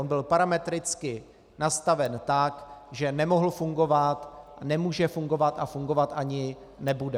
On byl parametricky nastaven tak, že nemohl fungovat, nemůže fungovat a fungovat ani nebude.